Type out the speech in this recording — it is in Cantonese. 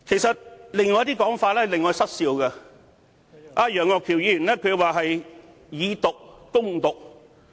此外，還有一些令我失笑的說法，就是楊岳橋議員提到"以毒攻毒"。